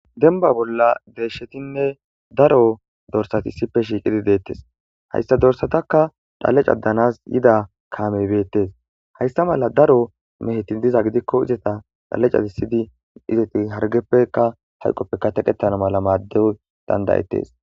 denba bolla deeshshetinne daro dorsatissipe shiiqidi deettes hayssa dorsatakka dhalecadanas yida kaameybeettes haysta mala daro mehetin diza gidikko izata dhalecadisidi izeti hargeppeka hayqoppeka teqettano mala maaddew dandayettes